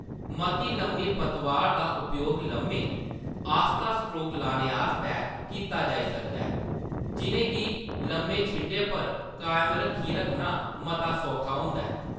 मती लम्मी पतवार दा उपयोग लम्मे, आस्ता स्ट्रोक लाने आस्तै कीता जाई सकदा ऐ, जिʼनें गी लम्मे छिंडे पर कायम रक्खी रक्खना मता सौखा होंदा ऐ।